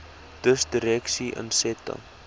dus direkte insette